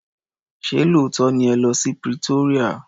Ṣé lóòótọ́ ni ẹ lọ́ sí Pretoria.